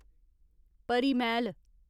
परी मैह्‌ल